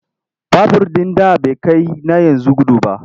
Babur ɗin da bai kai na yanzu gudu ba.